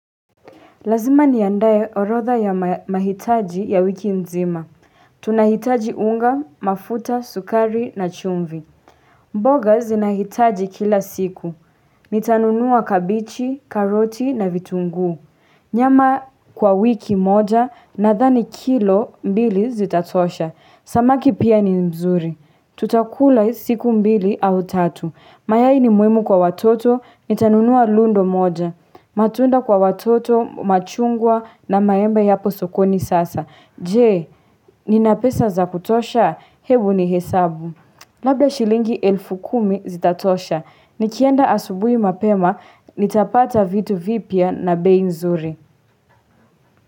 Lazima niandae orotha ya mahitaji ya wiki mzima. Tunahitaji unga, mafuta, sukari na chumvi. Mboga zinahitaji kila siku. Nitanunua kabichi, karoti na vitungu. Nyama kwa wiki moja nadhani kilo mbili zitatosha. Samaki pia ni mzuri. Tutakula siku mbili au tatu. Mayai ni muhimu kwa watoto. Nitanunua lundo moja. Matunda kwa watoto, machungwa na maembe yapo sokoni sasa. Je, nina pesa za kutosha, hebu nihesabu. Labda shilingi elfu kumi zitatosha. Nikienda asubui mapema, nitapata vitu vipya na bei nzuri.